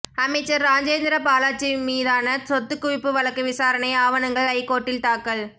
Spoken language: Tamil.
அமைச்சர் ராஜேந்திரபாலாஜி மீதான சொத்து குவிப்பு வழக்கு விசாரணை ஆவணங்கள் ஐகோர்ட்டில் தாக்கல்